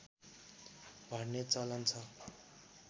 भर्ने चलन छ